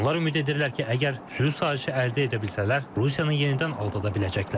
Onlar ümid edirlər ki, əgər sülh sazişi əldə edə bilsələr, Rusiyanı yenidən aldada biləcəklər.